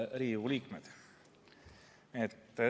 Head Riigikogu liikmed!